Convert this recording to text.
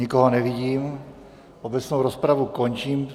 Nikoho nevidím, obecnou rozpravu končím.